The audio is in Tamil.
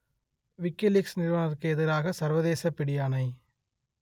விக்கிலீக்ஸ் நிறுவனருக்கு எதிராக சர்வதேசப் பிடியாணை